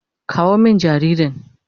Kawo min jaririn.